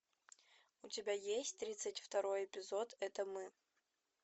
у тебя есть тридцать второй эпизод это мы